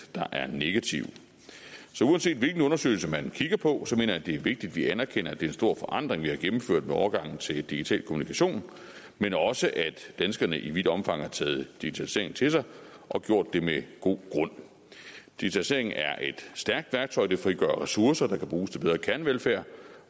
er negative så uanset hvilken undersøgelse man kigger på mener jeg det er vigtigt at vi anerkender at det er en stor forandring vi har gennemført med overgangen til digital kommunikation men også at danskerne i vidt omfang har taget digitaliseringen til sig og gjort det med god grund digitaliseringen er et stærkt værktøj det frigør ressourcer der kan bruges til bedre kernevelfærd